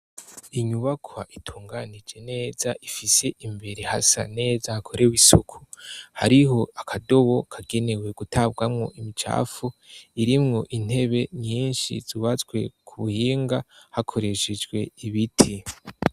Inyubakwa itunganije neza ifise imbere hasa neza hakorewe isuku . Hariho akadobo kagenewe gutabwamo imicafu, irimwo intebe nyinshi zubatswe ku buhinga hakoreshejwe ibiti.